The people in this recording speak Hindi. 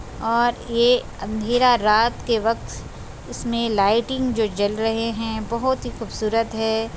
और ये अँधेरा रात के वक़्त इसमें लाइटिंग जो जल रहे है बहुत ही खूबसूरत है।